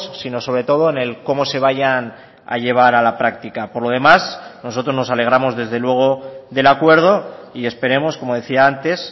sino sobre todo en el cómo se vayan a llevar a la práctica por lo demás nosotros nos alegramos desde luego del acuerdo y esperemos como decía antes